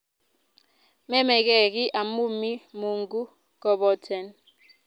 memeke kiy amu mii mungu koboten,